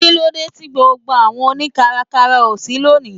Kílódé tí gbogbo àwọn oni káràkárà ó ṣí lónìí?